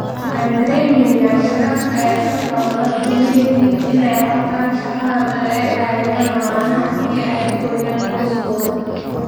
" Waxaan dareemaynaa sharaf ay dadka badda ku leeyihiin inay qabtaan shaqadan oo ay caawiyaan lamaanahan si ay u koriiyaan qoysoskooda."